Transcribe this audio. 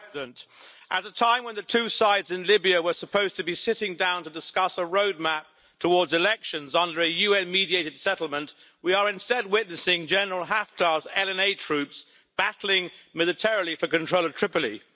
Madam President, at a time when the two sides in Libya were supposed to be sitting down to discuss a road map towards elections under a UN mediated settlement, we are instead witnessing General Haftar's LNA troops battling militarily for control of Tripoli.